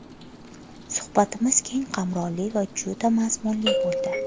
Suhbatimiz keng qamrovli va juda mazmunli bo‘ldi.